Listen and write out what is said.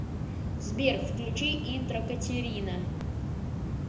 сбер включи интро катерина